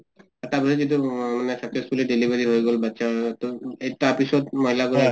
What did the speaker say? তাৰ পিছত যিটো successfully delivered হৈ গল বাচ্ছা , টো তাৰ পিছত মহিলা গৰাকীক